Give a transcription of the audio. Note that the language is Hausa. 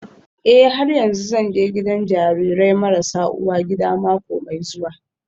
Eh har yanzu zan je gidan jarirai marasa uwa gida mako mai zuwa